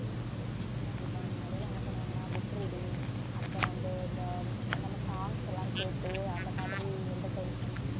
ஆமா தீபா முன்னாடி எல்லாம் என்ன பண்ணுவாங்கன்னா book reading அடுத்து வந்து இந்த நம்ம songs எல்லாம் கேட்டு அந்த மாதிரி entertainment பண்~